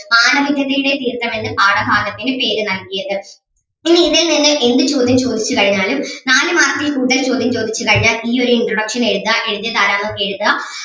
മാനവികതയുടെ തീർത്ഥം എന്ന് പാഠഭാഗത്തിന് പേര് നൽകിയത് ഇനി ഇതിൽ നിന്ന് എന്ത് ചോദ്യം ചോദിച്ചു കഴിഞ്ഞാലും നാലു mark ൽ കൂടുതൽ ചോദ്യം ചോദിച്ചു കഴിഞ്ഞാൽ ഈ ഒരു introduction എഴുതുക എഴുതിയത് ആരാന്നോക്കെ എഴുതുക